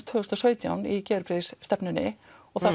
tvö þúsund og sautján í geðheilbrigðisstefnunni og það